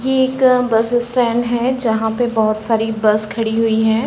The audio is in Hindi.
ये एक बस स्टैन्ड है जहाँ पे (पर) बहोत (बहुत) सारी बस खड़ी हुई हैं।